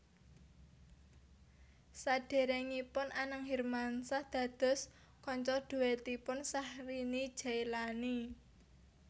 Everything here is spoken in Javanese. Sadèrèngipun Anang Hermansyah dados kanca dhuètipun Syahrini Jaelani